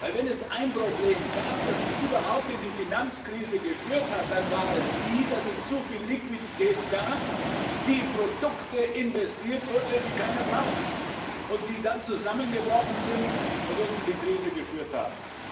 Wenn es ein Problem gab, das uns überhaupt in die Finanzkrise geführt hat, dann war es, dass es zuviel Liquidität gab, die in Produkte investiert wurde, die keiner braucht, und die dann zusammengebrochen sind und uns in die Krise geführt haben.